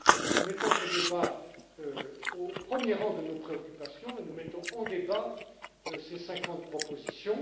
Nous mettons ce débat au premier rang de nos préoccupations et nous mettons en débat ces 50 propositions.